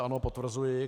Ano, potvrzuji.